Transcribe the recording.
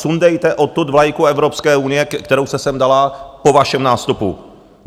Sundejte odtud vlajku Evropské unie, kterou jste sem dala po vašem nástupu.